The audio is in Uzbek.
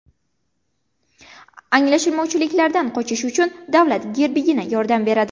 Anglashilmovchiliklardan qochish uchun davlat gerbigina yordam beradi.